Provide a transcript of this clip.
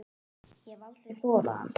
Ég hef aldrei þolað hann.